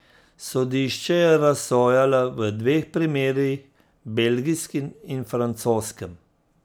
Sodišče je razsojalo v dveh primerih, belgijskem in francoskem.